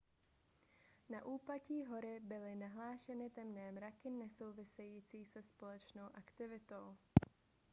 na úpatí hory byly nahlášeny temné mraky nesouvisející se sopečnou aktivitou